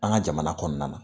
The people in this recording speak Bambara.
An ka jamana kɔnɔna na